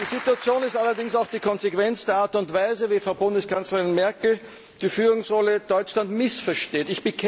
Die Situation ist allerdings auch die Konsequenz der Art und Weise, wie Frau Bundeskanzlerin Merkel die Führungsrolle Deutschlands missversteht.